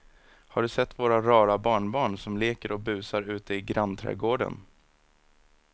Har du sett våra rara barnbarn som leker och busar ute i grannträdgården!